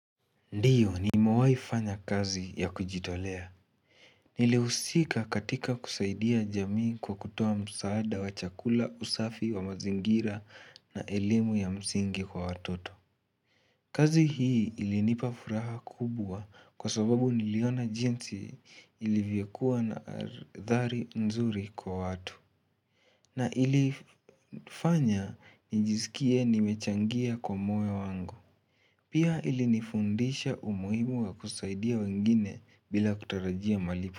Ndiyo nimewai fanya kazi ya kujitolea Nilihusika katika kusaidia jamii kwa kutoa msaada wa chakula, usafi wa mazingira, na elimu ya msingi kwa watoto kazi hii ilinipa furaha kubwa kwa sababu niliona jinsi ilivyokua na hadhari nzuri kwa watu na ilifanya nijiskie nimechangia kwa moyo wangu Pia ilinifundisha umuhimu wa kusaidia wengine bila kutarajia malipo.